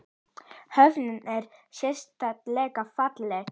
Höfnin er sérleg falleg.